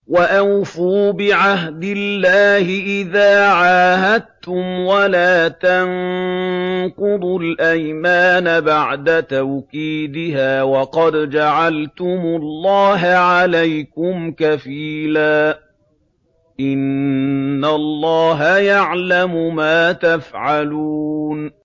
وَأَوْفُوا بِعَهْدِ اللَّهِ إِذَا عَاهَدتُّمْ وَلَا تَنقُضُوا الْأَيْمَانَ بَعْدَ تَوْكِيدِهَا وَقَدْ جَعَلْتُمُ اللَّهَ عَلَيْكُمْ كَفِيلًا ۚ إِنَّ اللَّهَ يَعْلَمُ مَا تَفْعَلُونَ